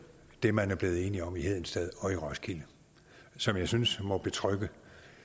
det man er blevet enige om i hedensted og i roskilde som jeg synes må betrygge